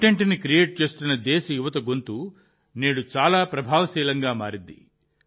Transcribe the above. కంటెంట్ని క్రియేట్ చేస్తున్న దేశ యువత గొంతు నేడు చాలా ప్రభావశీలంగా మారింది